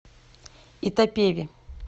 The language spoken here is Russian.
итапеви